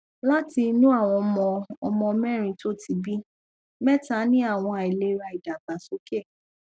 láti inú àwọn ọmọ ọmọ mérin tó ti bí mẹta ní àwọn àìlera idagbasoke